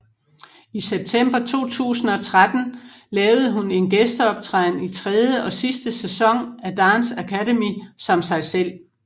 I september 2013 lavede hun en gæsteoptræden i tredje og sidste sæson af Dance Academy som sig selv